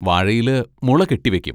വാഴയില് മുള കെട്ടി വെക്കും.